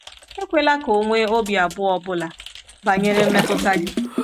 Ekwela ka o nwee obi abụọ ọ bụla banyere mmetụta gị